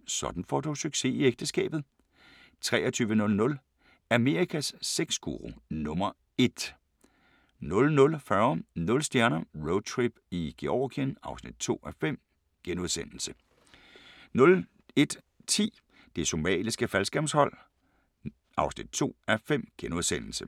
21:40: Sådan får du succes i ægteskabet 23:00: Amerikas sexguru nummer ét 00:40: Nul stjerner - Roadtrip i Georgien (2:5)* 01:10: Det Somaliske Faldskærmshold (2:5)*